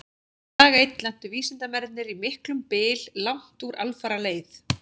Dag einn lentu vísindamennirnir í miklum byl langt úr alfaraleið.